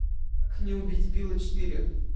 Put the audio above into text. как не убить билла четыре